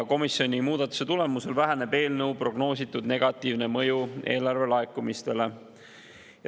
Komisjoni muudatuse tulemusel väheneb eelnõu prognoositud negatiivne mõju eelarve laekumistele.